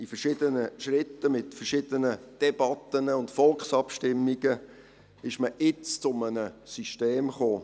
In verschiedenen Schritten, mit verschiedenen Debatten und Volksabstimmungen ist man jetzt zu einem System gekommen.